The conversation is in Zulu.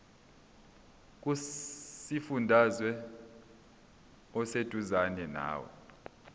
kusifundazwe oseduzane nawe